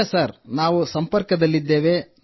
ಇಲ್ಲ ನಾವು ಸಂಪರ್ಕದಲ್ಲಿದ್ದೇವೆ